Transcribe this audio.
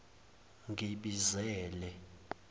ngibizele